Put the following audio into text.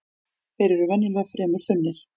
Þeir eru venjulega fremur þunnir